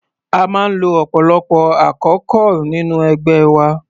A máa ń lo ọ̀pọ̀lọpọ̀ àkókol nínú ẹgbẹ́ wa.